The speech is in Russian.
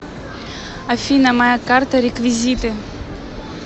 афина моя карта реквизиты